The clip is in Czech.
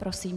Prosím.